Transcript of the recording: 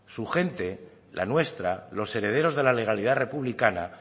su gente la nuestra los herederos de la legalidad republicana